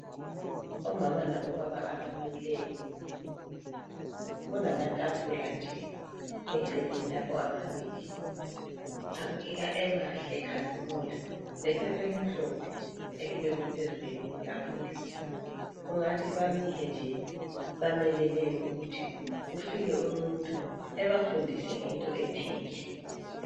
Omama labobaba abamileyo kulamatafula nje eceleni lapha amabili abukeka emahle ekhazimula lephepha elimhlolhe elibekwe phezulu kweyinye itafula kungathi bamile nje bamelele ukuthi kufike umuntu ebafundise ngento ethile